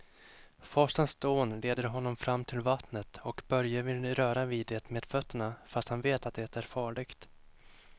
Forsens dån leder honom fram till vattnet och Börje vill röra vid det med fötterna, fast han vet att det är farligt.